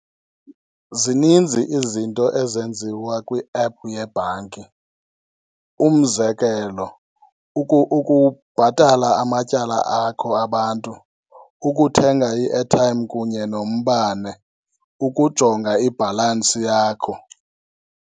Zininzi izinto ezenziwa kwi-app yebhanki. Umzekelo, ukubhatala amatyala akho abantu, ukuthenga i-airtime kunye nombane, ukujonga ibhalansi yakho.